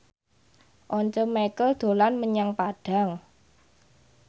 Once Mekel dolan menyang Padang